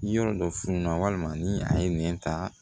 Yɔrɔ dɔ fununa walima ni a ye nɛn ta